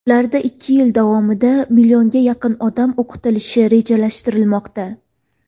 Ularda ikki yil davomida millionga yaqin odam o‘qitilishi rejalashtirilmoqda.